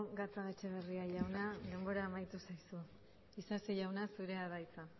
gatzagaetxebarria jauna denbora amaitu zaizu isasi jauna zurea da hitza